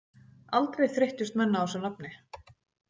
Aldrei þreyttust menn á þessu nafni.